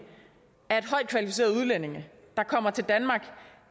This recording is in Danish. at højt kvalificerede udlændinge der kommer til danmark